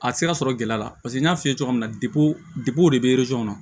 A tɛ se ka sɔrɔ gɛlɛya la paseke n y'a f'i ye cogo min na depi o de bɛ kɔnɔ